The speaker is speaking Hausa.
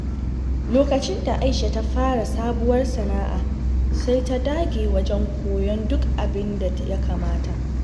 Lokacin da Aisha ta fara sabuwar sana’a, sai ta dage wajen koyon duk abin da ya kamata.